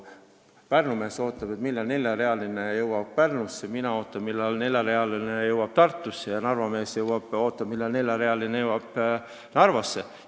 Pärnu mees ootab, millal neljarealine tee jõuab Pärnusse, mina ootan, millal neljarealine tee jõuab Tartusse, ja Narva mees ootab, millal neljarealine tee jõuab Narvasse.